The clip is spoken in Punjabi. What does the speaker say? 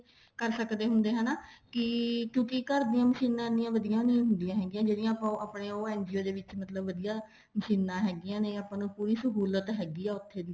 ਕਰ ਸਕਦੇ ਹੁੰਦੇ ਹਨਾ ਕੀ ਕਿਉਂਕਿ ਘਰ ਦੀਆਂ ਮਸ਼ੀਨਾ ਵਧੀਆ ਣ ਹੁੰਦੀਆਂ ਹੈਗੀਆਂ ਜਿਹੜੀਆਂ ਆਪਣੀਆਂ ਉਹ ਦੇ ਵਿੱਚ ਮਸ਼ੀਨਾ ਹੈਗੀਆਂ ਨੇ ਆਪਾਂ ਨੂੰ ਪੂਰੀ ਸਹੁਲਤ ਹੈਗੀ ਆ ਉੱਥੇ ਦੀ